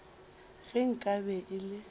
ge nka be e le